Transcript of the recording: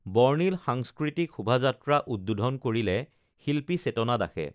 বৰ্ণিল সাংস্কৃতিক শোভাযাত্ৰা উদ্বোধন কৰিলে শিল্পী চেতনা দাসে